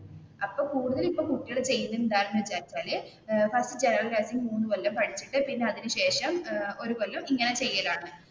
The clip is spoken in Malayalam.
അപ്പൊ ഇപ്പൊ കൂടുതൽ കുട്ടികൾ ചെയ്യുന്നത് എന്താണെന്ന് വെച്ചാൽ ഫസ്റ്റ് ജനറൽ നേഴ്സിങ് മൂന്ന് കൊല്ലം പഠിച്ചിട്ട് പിന്നെ അതിനു ശേഷം ഒരു കൊല്ലം ഇങ്ങനെ ചെയ്യലാണ്